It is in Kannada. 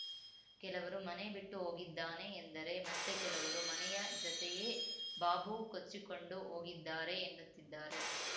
ಕೆಲವರು ಮನೆ ಬಿಟ್ಟು ಹೋಗಿದ್ದಾನೆ ಎಂದರೆ ಮತ್ತೆ ಕೆಲವರು ಮನೆಯ ಜತೆಯೇ ಬಾಬು ಕೊಚ್ಚಿಕೊಂಡು ಹೋಗಿದ್ದಾರೆ ಎನ್ನುತ್ತಿದ್ದಾರೆ